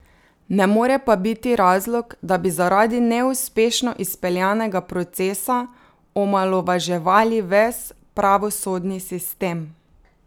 Ne more pa biti razlog, da bi zaradi neuspešno izpeljanega procesa omalovaževali ves pravosodni sistem.